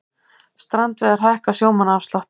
Strandveiðar hækka sjómannaafslátt